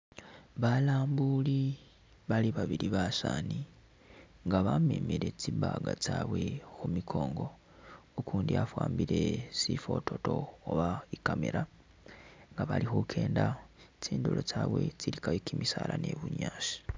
Balambuli bali babili basaani nga bamemele tsi bag tsabwe khumikongo ,ukundi afw Awambile sifototo oba i'camera nga bali khukenda tdindulo tsyabwe tsili kayo kimisaala ni bunyaasi